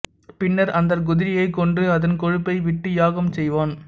பின்னர் அந்தக் குதிரையைக் கொன்று அதன் கொழுப்பை விட்டு யாகம் செய்வான்